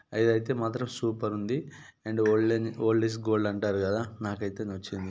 అది అయితే మాత్రం సూపర్ ఉంది and old -old is gold అంటారు కదా నాక అయితే నచ్చింది.